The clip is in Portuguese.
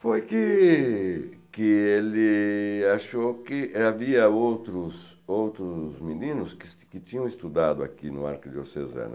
Foi que que ele achou que havia outros outros meninos que tinham estudado aqui no Arquidiocesano.